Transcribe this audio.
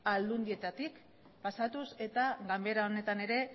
aldundietatik pasatuz eta ganbara honetan ere